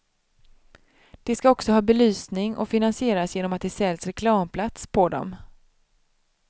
De ska också ha belysning och finansieras genom att det säljs reklamplats på dem.